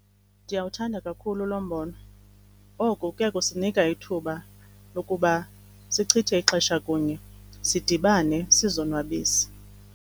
Ndiyawuthanda kakhulu lo mbono. Oku kuya kusinika ithuba lokuba sichithe ixesha kunye, sidibane sizonwabise.